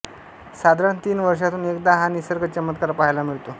साधारण तीन वर्षांतून एकदा हा निसर्ग चमत्कार पहायला मिळतो